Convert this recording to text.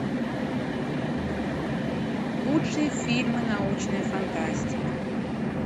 лучшие фильмы научная фантастика